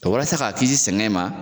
walasa k'a kisi sɛnɛ in ma